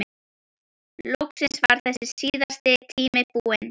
Loksins var þessi síðasti tími búinn.